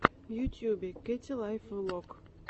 в ютюбе кэти лайф влог